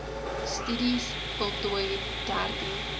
studies voltooi dertien